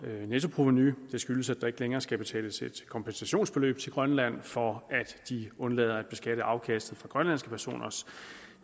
nettoprovenu det skyldes at der ikke længere skal betales et kompensationsbeløb til grønland for at de undlader at beskatte afkastet for grønlandske personers